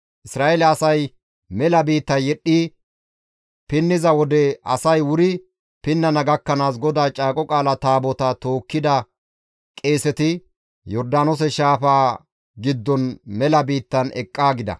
Isra7eele asay mela biitta yedhdhi pinniza wode asay wuri pinnana gakkanaas GODAA Caaqo Qaala Taabotaa tookkida qeeseti Yordaanoose shaafaa giddon mela biittan eqqaa gida.